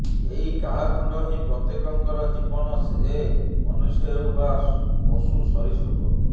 ଏଇ କାଳଖଣ୍ଡ ହିଁ ପ୍ରତ୍ୟେକଙ୍କର ଜୀବନ ସେ ମନୁଷ୍ୟ ହେଉ ବା ପଶୁ ସରିସୃପ